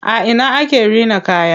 A ina ake rina kaya?